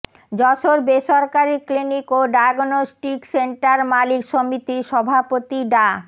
যশোর বেসরকারি ক্লিনিক ও diagnostic centre মালিক সমিতির সভাপতি ডা